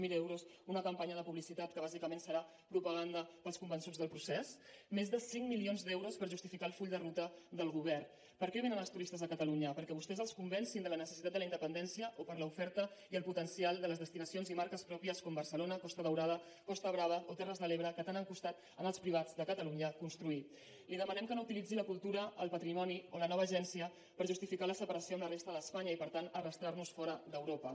zero euros una campanya de publicitat que bàsicament serà propaganda per als convençuts del procés més de cinc milions d’euros per justificar el full de ruta del govern per què vénen els turistes a catalunya perquè vostès els convencin de la necessitat de la independència o per l’oferta i el potencial de les destinacions i marques pròpies com barcelona costa daurada costa brava o terres de l’ebre que tant han costat als privats de catalunya construir li demanem que no utilitzi la cultura el patrimoni o la nova agència per justificar la separació de la resta d’espanya i per tant arrossegarnos fora d’europa